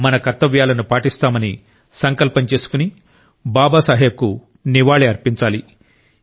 మన కర్తవ్యాలను పాటిస్తామని సంకల్పం చేసుకుని బాబాసాహెబ్ కు నివాళి అర్పించాలి